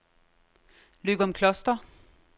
Løgumkloster